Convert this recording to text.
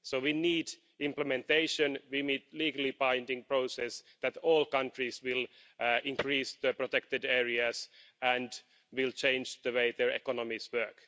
So we need implementation, we need a legally binding process, so that all countries will increase their protected areas and will change the way their economies work.